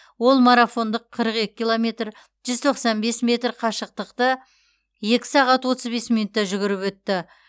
ол марафондық қырық екі километр жүз тоқсан бес метр қашықтықты екі сағат отыз бес минутта жүгіріп өтті